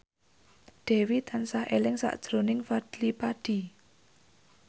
Dewi tansah eling sakjroning Fadly Padi